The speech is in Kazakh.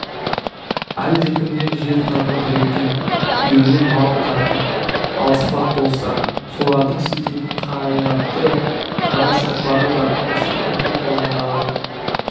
әлдекімнен жер тағы біреуден үйірлі мал тартып алыспақ болса солардың сілтейтін қайратты қара шоқпары да осы күнту қолындағы